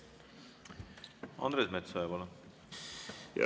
Andres Metsoja, palun!